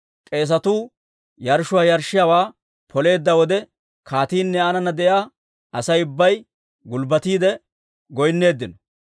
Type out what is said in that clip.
K'eesetuu yarshshuwaa yarshshiyaawaa poleedda wode, kaatiinne aanana de'iyaa Asay ubbay gulbbatiide goynneeddino.